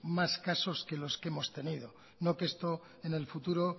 más casos que los que hemos tenido no que esto en el futuro